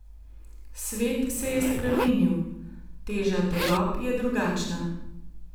Svet se je spremenil, teža tegob je drugačna.